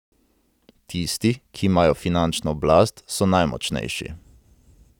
Tisti, ki imajo finančno oblast, so najmočnejši.